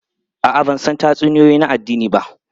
A'a, ban san tatsuniyoyi na addini ba.